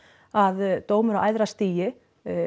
að dómur á æðra stigi